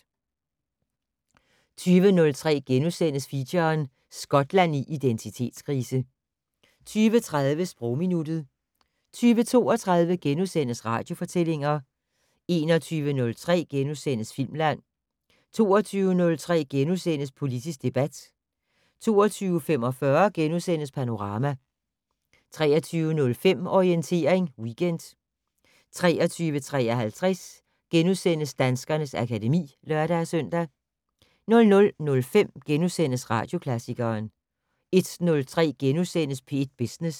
20:03: Feature: Skotland i identitetskrise * 20:30: Sprogminuttet 20:32: Radiofortællinger * 21:03: Filmland * 22:03: Politisk debat * 22:45: Panorama * 23:05: Orientering Weekend 23:53: Danskernes akademi *(lør-søn) 00:05: Radioklassikeren * 01:03: P1 Business *